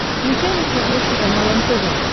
включай на смотрешке канал нтв